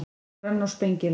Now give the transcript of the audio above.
Grönn og spengileg.